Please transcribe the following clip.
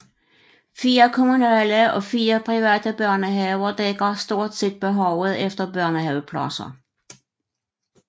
Fire kommunale og fire private børnehaver dækker stort set behovet efter børnehavepladser